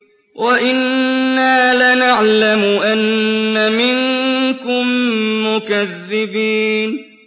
وَإِنَّا لَنَعْلَمُ أَنَّ مِنكُم مُّكَذِّبِينَ